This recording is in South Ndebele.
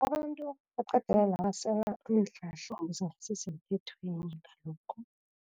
Abantu basela iinhlahla lezi ezingasi semthethweni ngalokhu.